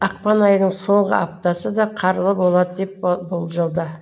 ақпан айының соңғы аптасы да қарлы болады деп болжауда